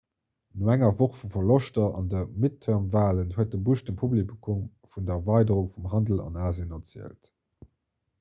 no enger woch vu verloschter an de midterm-walen huet de bush dem publikum vun der erweiderung vum handel an asien erzielt